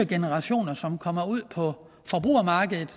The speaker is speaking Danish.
generationer som kommer ud på forbrugermarkedet